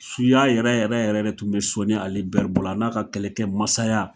Suya yɛrɛ yɛrɛ yɛrɛ de tun bɛ Soni Ali bɛri bolo, a n'a ka kɛlɛkɛ masaya